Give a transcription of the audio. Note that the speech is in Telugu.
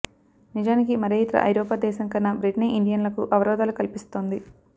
నిజానికి మరే యితర ఐరోపా దేశం కన్నా బ్రిటనే ఇండియన్లకు అవరోధాలు కల్పిస్తోంది